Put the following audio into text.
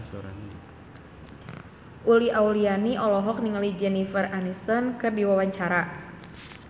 Uli Auliani olohok ningali Jennifer Aniston keur diwawancara